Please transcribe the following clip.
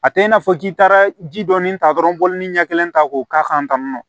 A tɛ i n'a fɔ k'i taara ji dɔɔni ta dɔrɔn ni ɲɛ kelen ta k'o k'a kan tan tɔ